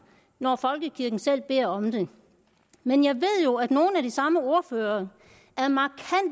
når folkekirken selv beder om det men jeg ved jo at nogle af de samme ordførere